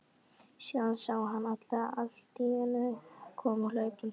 Síðan sá hann hana alltíeinu koma hlaupandi.